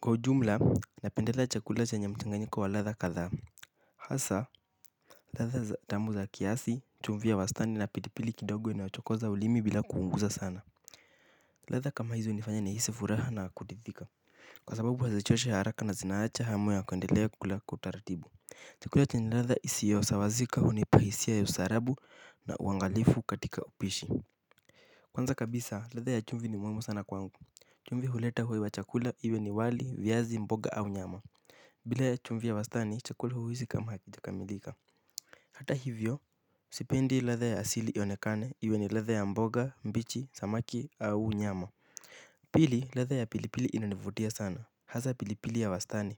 Kwa ujumla, napendelea chakula chanya mchanganyiko wa latha katha. Hasa latha tamu za kiasi chumvi ya wastani na pilipili kidogo inachongoza ulima bila kuumiza sana. Latha kama hizo nifanya ni hisi furaha na kuridhika. Kwa sababu hazichoshe haraka na zinaacha hamu ya kuendelea kukula kwa utaratibu. Chakula chenye latha isiyosawazika hunipa hisia ya ustaarabu na uangalifu katika upishi. Kwanza kabisa, latha ya chumvi ni muimu sana kwangu. Chumvi huleta huwe wa chakula iwe ni wali, vyazi, mboga au nyama. Bila ya chumvia wastani chakule huwisi kama hakijakamilika hata hivyo sipendi latha ya asili iyonekane iwe ni latha ya mboga mbichi samaki au nyama. Pili latha ya pilipili inanivutia sana, hasa pilipili ya wastani.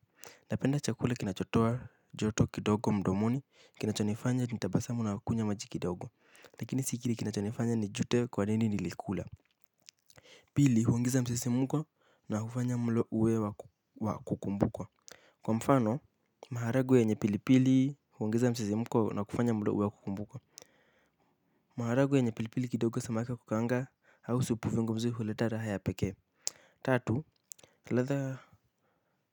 Napenda chakule kinachotoa joto kidogo mdomoni, kinachonifanya nitabasamu na wakunywa maji kidogo. Lakini sikiri kinachonifanya ni jute kwa nini nilikula. Pili huongeza msisimuko na hufanya mlo uwe wa kukumbukwa. Kwa mfano, maharagwe yenye pilipili huangiza msisimko na kufanya muda uwe kukumbukwa. Maharagwe yenye pilipili kidogo samaki wa kukanga hau supu zingumzu huleta raha ya peke. Tatu latha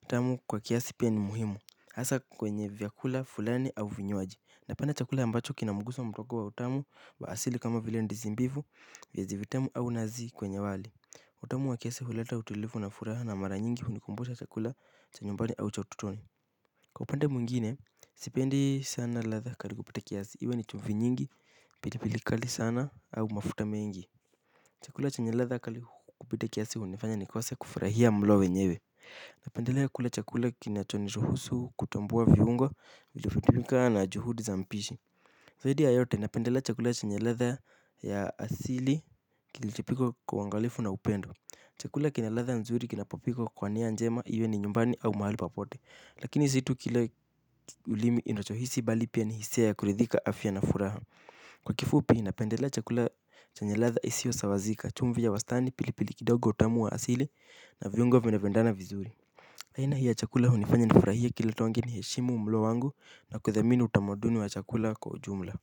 utamu kwa kiasi pia ni muhimu. Asa kwenye vyakula fulani au vinywaji. Napanda chakula ambacho kinamuguso mdoko wa utamu wa asili kama vile ndizi mbivu vyazi vitamu au nazi kwenye wali. Utamu wa kiasi huleta utulifu na furaha na mara nyingi hunikumbusha chakula cha nyumbani au cha utotoni. Kwa upande mwingine, sipendi sana latha kali kupita kiasi, iwe ni chumvi nyingi, pili pili kali sana, au mafuta mengi. Chakula chenye latha kali kupita kiasi, unifanya ni kose kufrahia mlo wenyewe napenda kula chakula kinachoniruhusu kutambua viungo iliotumika na juhudi za mpishi zaidi ya yote napendelea chakula chenye ladha ya asili kilichopikwa kwa uangalifu na upendo chakula kina ladha nzuri kinapopikwa kwa nia njema iwe ni nyumbani au mahali popote lakini zi tu kila ulimi inacho hisi bali pia ni hisia ya kuridhika afya na furaha. Kwa kifupi inapendela chakula chanye ladha isio sawazika. Chumvi ya wastani pili pili kidogo utamu wa asili na vyungo venavyoendana vizuri aina hii ya chakula hunifanya na furahie kila tonge ni heshimu mlo wangu. Na kuthamini utamaduni wa chakula kwa ujumla.